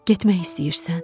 Getmək istəyirsən?